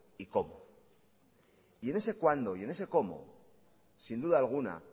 y cómo y en ese cuándo y en ese cómo sin duda alguna